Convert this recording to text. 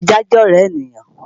Ajá jẹ́ ọ̀rẹ́ ènìyàn